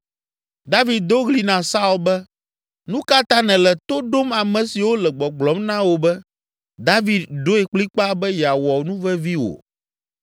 David do ɣli na Saul be, “Nu ka ta nèle to ɖom ame siwo le gbɔgblɔm na wò be, David ɖoe kplikpaa be yeawɔ nuvevi wò?